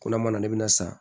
Ko n'a mana ne bɛna san